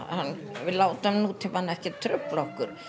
við látum nútímann trufla okkur